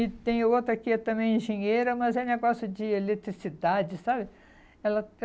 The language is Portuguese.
E tem outra que é também engenheira, mas é negócio de eletricidade, sabe? Ela